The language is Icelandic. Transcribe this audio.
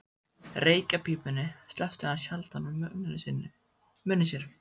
Reykjarpípunni sleppti hann sjaldan úr munni sér.